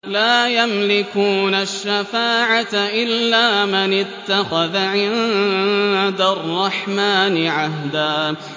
لَّا يَمْلِكُونَ الشَّفَاعَةَ إِلَّا مَنِ اتَّخَذَ عِندَ الرَّحْمَٰنِ عَهْدًا